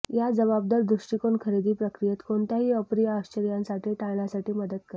या जबाबदार दृष्टिकोन खरेदी प्रक्रियेत कोणत्याही अप्रिय आश्चर्यांसाठी टाळण्यासाठी मदत करेल